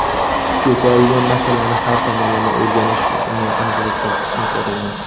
ko‘tarilgan masalani har tomonlama o‘rganish va unga aniqlik kiritishni so‘ragan.